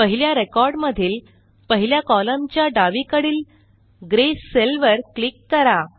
पहिल्या रेकॉर्ड मधील पहिल्या कॉलमच्या डावीकडील ग्रे सेल वर क्लिक करा